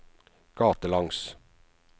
gatelangs